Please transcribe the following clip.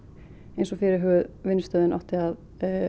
eins og fyrirhuguð vinnustöðvun átti að